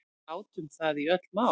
Við átum það í öll mál.